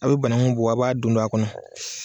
A' be banaŋu bɔ a' b'a don don a kɔnɔ